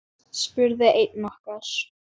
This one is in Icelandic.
spurði einn okkar.